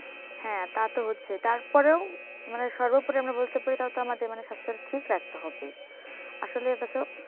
হ্যাঁ তা তো হচ্ছে তারপরেও মানে সর্বোপরি আমরা বলতে পারি তাও তো আমাদের মানে স্বাস্থ্যের ঠিক রাখতে হবে আসলে এটা তো